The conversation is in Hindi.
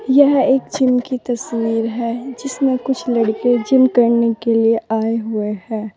यह एक जिम की तस्वीर है जिसमें कुछ लड़के जिम करने आए हुए हैं।